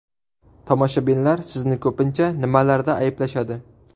Tomoshabinlar sizni ko‘pincha nimalarda ayblashadi?